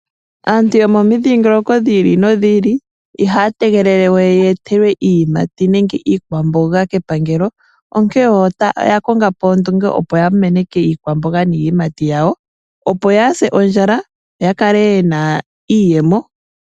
Aantu yomomidhingoloko dhi ili nodhi ili ihaya tegelele we ye etelwe iiyimati nenge iikwamboga kepangelo, onkene oya konga po ondunge opo ya meneke iikwamboga niiyimati yawo opo kaaya se ondjala yo ya kale yena iiyemo.